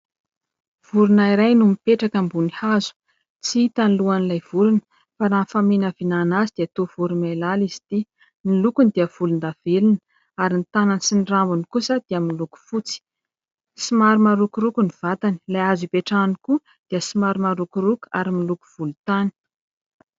Vorona iray no mipetraka ambony hazo. Tsy hita ny lohan'ilay vorona fa raha ny faminavinana azy dia toa voromailala izy ity. Ny lokony dia volondavenona ; ary ny tanany sy ny rambony kosa dia miloko fotsy. Somary marokoroko ny vatany. Ilay hazo ipetrahany koa dia somary marokoroko ary miloko volontany.